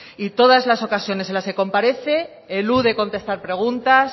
y todas las ocasiones en las que comparece elude contestar preguntas